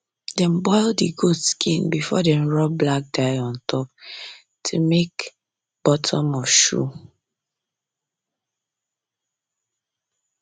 dem boil the goat skin before dem rub black dye on top to take make bottom of shoe